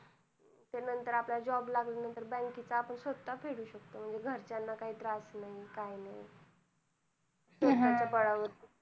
ते नंतर आपल्याला job लागल्यांनंतर, bank चं आपण स्वतः फेडू शकतो. घरच्यांना काही त्रास नाही काय नाही. हा हा स्वतःच्या बळावर.